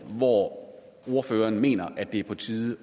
hvor ordføreren mener det er på tide